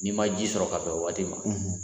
N'i ma ji sɔrɔ ka bɛn o waati ma